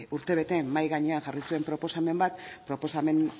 urtebete mahai gainean jarri zuen proposamen bat proposamen